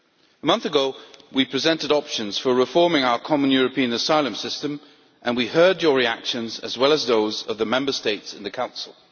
A month ago we presented options for reforming our Common European Asylum System and we heard your reactions as well as those of the Member States in the Council.